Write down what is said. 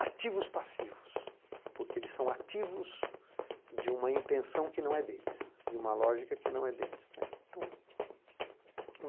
ativos passivos, porque eles são ativos de uma intenção que não é deles, de uma lógica que não é deles, né. Então